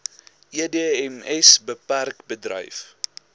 edms bpk bedryf